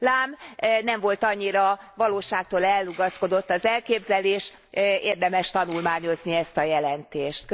Lám, nem volt annyira valóságtól elrugaszkodott az elképzelés, érdemes tanulmányozni ezt a jelentést.